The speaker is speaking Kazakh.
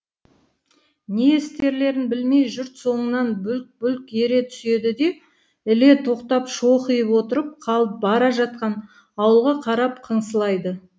не істерлерін білмей жұрт соңынан бүлк бүлк ере түседі де іле тоқтап шоқиып отырып қалып бара жатқан ауылға қарап қыңсылайды